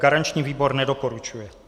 Garanční výbor nedoporučuje.